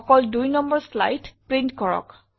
অকল ২নং slide print কৰক